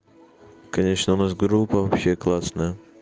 конечно у нас группа вообще классная